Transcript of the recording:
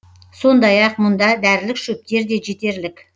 сондай ақ мұнда дәрілік шөптер де жетерлік